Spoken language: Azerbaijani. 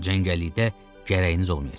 Cəngəllikdə gərəyiniz olmayacaq.